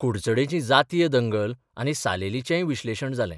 कुडचडेंची जातीय दंगल आनी सालेलीचेंय विश्लेशण जालें.